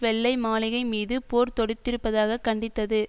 வெள்ளை மாளிகை மீது போர் தொடுத்திருப்பதாக கண்டித்தது